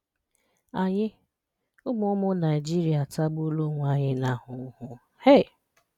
Ànyì ụmụ̀ ụmụ̀ Naịjìrìà àtàgbùòlà onwè ànyì n’ahùhù um